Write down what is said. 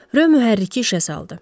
Röy mühərriki işə saldı.